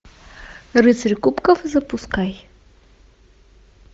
рыцари кубков запускай